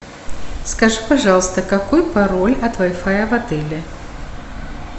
скажи пожалуйста какой пароль от вай фая в отеле